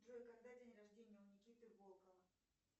джой когда день рождения у никиты волкова